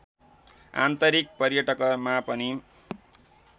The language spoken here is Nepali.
आन्तरिक पर्यटकमा पनि